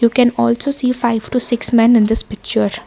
we can also see five to six men in this picture.